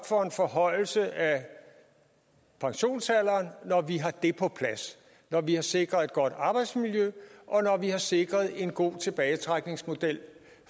for en forhøjelse af pensionsalderen når vi har det på plads når vi har sikret et godt arbejdsmiljø og når vi har sikret en god tilbagetrækningsmodel